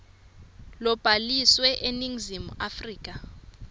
lobhaliswe eningizimu afrika